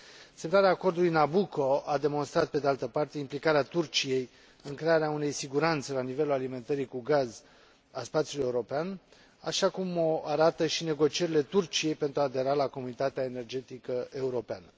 Semnarea acordului Nabucco a demonstrat, pe de altă parte, implicarea Turciei în crearea unei siguranțe la nivelul alimentării cu gaz a spațiului european, așa cum o arată și negocierile Turciei pentru a adera la Comunitatea Energetică Europeană.